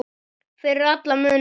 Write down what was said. Fyrir alla muni, já.